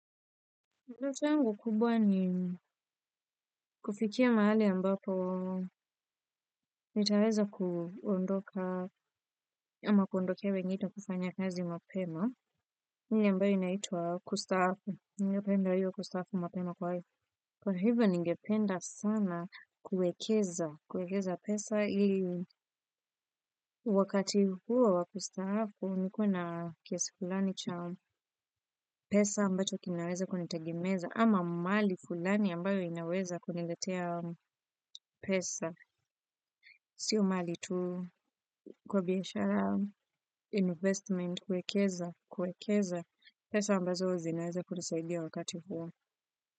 Ndoto yangu kubwa ni kufikia mahali ambapo nitaweza kuondoka ama kuondokea wengine kufanya kazi mapema. Ile ambayo inaitwa kustaafu. Ningependa hiyo kustafu mapema kwa hivyo. Kwa hivyo ningependa sana kuekeza. Kuekeza pesa ili wakati huo wa kustafu. Nikuena kiasi fulani cha pesa ambacho kinaweza kunitegemeza. Ama mali fulani ambayo inaweza kuniletea pesa. Sio mali tu kubiashara investment kuekeza, kuekeza. Pesa ambazo zi inaweza kunisaidia wakati huwo.